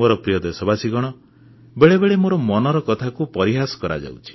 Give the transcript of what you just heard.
ମୋର ପ୍ରିୟ ଦେଶବାସୀ ବେଳେବେଳେ ମୋର ମନ କି ବାତକୁ ପରିହାସ କରାଯାଉଛି